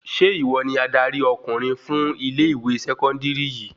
Ṣe ìwọ ni adarí ọkùnrin fún ilẹ ìwé sẹkọndiri yìí?